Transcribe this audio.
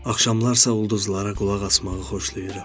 Axşamlar isə ulduzlara qulaq asmağı xoşlayıram.